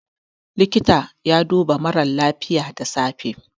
likita yana duba mara lafiya da safe